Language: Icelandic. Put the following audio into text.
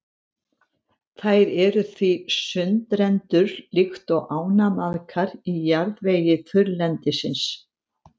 Þær eru því sundrendur líkt og ánamaðkar í jarðvegi þurrlendisins.